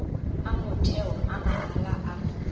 a motheo a mahala a